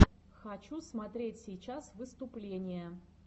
хочу смотреть сейчас выступления